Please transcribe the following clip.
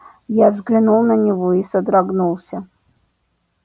я взглянул на него и содрогнулся